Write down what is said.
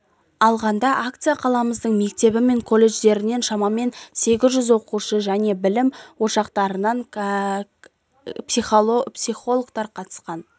алғанда акцияға қаламыздың мектебі мен колледждерінен шамамен сегіз жүз оқушы және білім ошақтарынын психологтары қатысқан